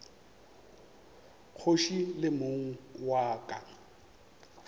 kgoši le mong wa ka